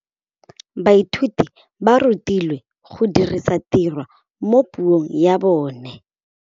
Baithuti ba rutilwe go dirisa tirwa mo puong ya bone.